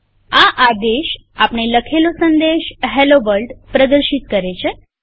આ આદેશ આપણે લખેલો સંદેશHello વર્લ્ડ પ્રદર્શિત કરે છે